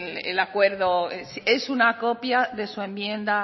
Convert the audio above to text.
el acuerdo es una copia de su enmienda